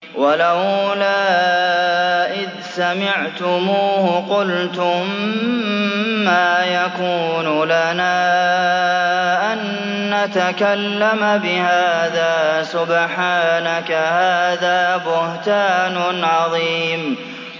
وَلَوْلَا إِذْ سَمِعْتُمُوهُ قُلْتُم مَّا يَكُونُ لَنَا أَن نَّتَكَلَّمَ بِهَٰذَا سُبْحَانَكَ هَٰذَا بُهْتَانٌ عَظِيمٌ